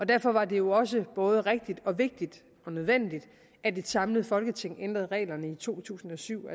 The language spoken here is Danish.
derfor var det jo også både rigtigt og vigtigt og nødvendigt at et samlet folketing ændrede reglerne i to tusind og syv